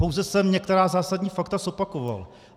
Pouze jsem některá zásadní fakta zopakoval.